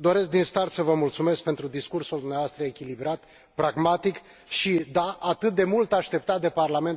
doresc din start să vă mulțumesc pentru discursul dumneavoastră echilibrat, pragmatic și, da, atât de mult așteptat de Parlamentul European.